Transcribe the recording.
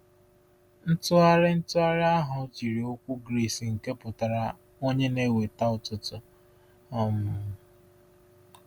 Ntụgharị Ntụgharị ahụ jiri okwu Gris nke pụtara “onye na-eweta ụtụtụ.” um